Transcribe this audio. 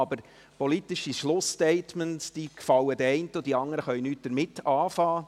Aber politische Schlussstatements gefallen den einen, und die anderen können nichts damit anfangen.